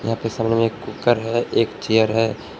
यहां पे सामने में एक कुकर है एक चेयर है।